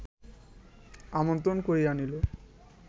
আমন্ত্রণ করিয়া আনিল